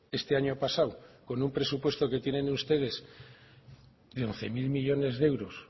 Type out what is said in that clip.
este año pasado con un presupuesto que tienen ustedes de once mil millónes de euros